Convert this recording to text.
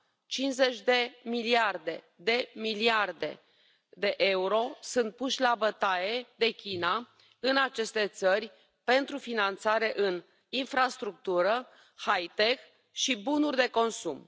50 de miliarde de euro sunt puși la bătaie de China în aceste țări pentru finanțare în infrastructură, hi tech și bunuri de consum.